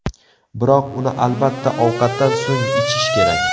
Biroq, uni albatta, ovqatdan so‘ng ichish kerak.